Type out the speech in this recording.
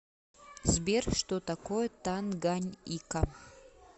сбер что такое танганьика